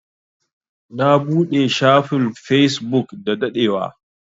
Na buɗe shafin Facebook da daɗewa.